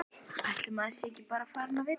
Ætli maður sé ekki farinn að vita það.